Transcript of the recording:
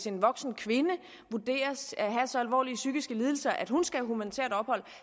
en voksen kvinde vurderes at have så alvorlige psykiske lidelser at hun skal have humanitært ophold